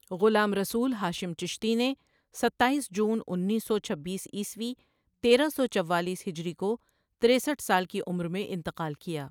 غلام رسول ہاشم چشتی نے ستائیس جون انیس سو چھبیس عیسوی تیرہ سو چووالیس ہجری کو تِریسٹھ سال کی عمر میں انتقال کیا۔